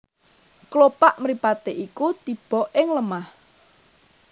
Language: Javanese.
Klopak mripaté iku tiba ing lemah